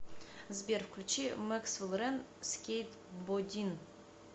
сбер включи мэксвел рэн скейтбодин